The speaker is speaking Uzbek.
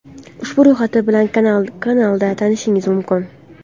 Ushbu ro‘yxat bilan kanalda tanishishingiz mumkin.